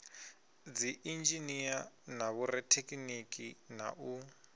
dziinzhinia na vhorathekhiniki na u